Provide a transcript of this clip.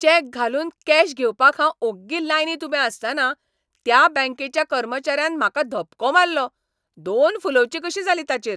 Check घालून cash घेवपाक हांव ओग्गी लायनींत उबें आसतना त्या बँकेच्या कर्मचाऱ्यान म्हाका धपको मारलो, दोन फुलोवचीं कशीं जालीं ताचेर.